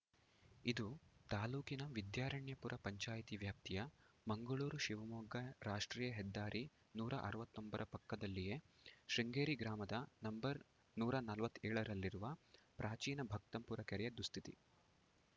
ಇದು ತಾಲೂಕಿನ ವಿದ್ಯಾರಣ್ಯಪುರ ಪಂಚಾಯಿತಿ ವ್ಯಾಪ್ತಿಯ ಮಂಗಳೂರು ಶಿವಮೊಗ್ಗ ರಾಷ್ಟ್ರೀಯ ಹೆದ್ದಾರಿ ನೂರ ಅರವತ್ತೊಂಬರ ಪಕ್ಕದಲ್ಲಿಯೇ ಶೃಂಗೇರಿ ಗ್ರಾಮದ ನಂಬರ್ ನೂರ ನಲವತ್ತ್ ಏಳರಲ್ಲಿರುವ ಪ್ರಾಚೀನ ಭಕ್ತಂಪುರ ಕೆರೆಯ ದುಸ್ಥಿತಿ